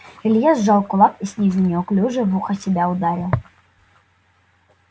илья сжал кулак и снизу неуклюже в ухо себя ударил